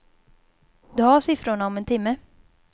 Du har siffrorna om en timme.